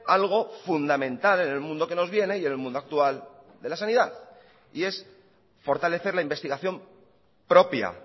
algo fundamental en el mundo que nos viene y en el mundo actual de la sanidad y es fortalecer la investigación propia